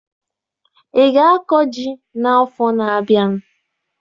Ị ga-akọ ji n'afọ na-abịa?